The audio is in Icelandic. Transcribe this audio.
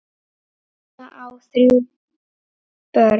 Erla á þrjú börn.